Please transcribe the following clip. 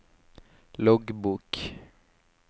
loggbok